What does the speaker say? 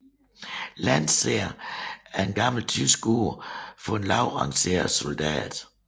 Landser er et gammelt tysk ord for en lavt rangeret soldat